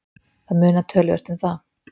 Það munar töluvert um það.